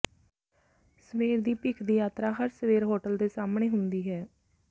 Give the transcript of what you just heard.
ਸਵੇਰ ਦੀ ਭੀਖ ਦੀ ਯਾਤਰਾ ਹਰ ਸਵੇਰ ਹੋਟਲ ਦੇ ਸਾਹਮਣੇ ਹੁੰਦੀ ਹੈ